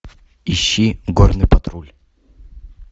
ищи горный патруль